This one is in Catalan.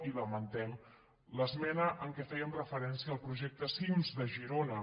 i lamentem l’esmena en què fèiem referència al projecte cims de girona